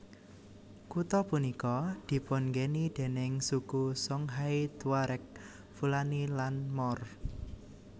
Kutha punika dipun nggeni déning suku Songhay Tuareg Fulani lan Moor